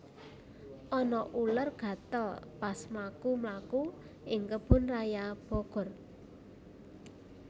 Ana uler gatel pas mlaku mlaku ing Kebun Raya Bogor